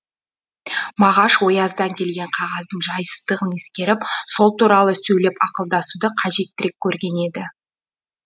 мағаш ояздан келген қағаздың жайсыздығын ескеріп сол туралы сөйлеп ақылдасуды қажеттірек көрген еді